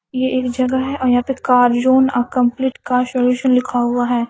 ये एक जगह है यहां पे Carzone a complete car solution लिखा हुआ है।